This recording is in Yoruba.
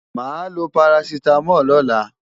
Màá lo parasítámọ̀ lọ́la.